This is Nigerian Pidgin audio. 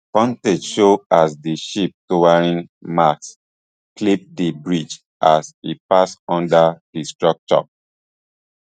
footage show as di ship towering masts clip di bridge as e pass under di structure